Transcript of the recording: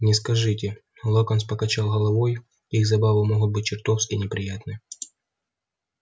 не скажите локонс покачал головой их забавы могут быть чертовски неприятны